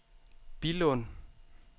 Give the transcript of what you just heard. Billund